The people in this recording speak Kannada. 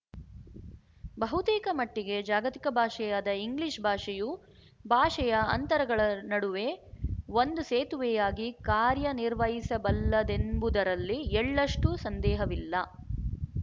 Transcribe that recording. ಬಹುತೇಕ ಮಟ್ಟಿಗೆ ಜಾಗತಿಕ ಭಾಷೆಯಾದ ಇಂಗ್ಲಿಶ್‌ ಭಾಷೆಯು ಭಾಷೆಯ ಅಂತರಗಳ ನಡುವೆ ಒಂದು ಸೇತುವೆಯಾಗಿ ಕಾರ್ಯನಿರ್ವಹಿಸಬಲ್ಲದೆಂಬುದರಲ್ಲಿ ಎಳ್ಳಷ್ಟೂ ಸಂದೇಹವಿಲ್ಲ